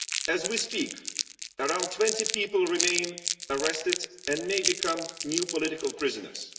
As we speak, around 20 people remain in custody and may become new political prisoners.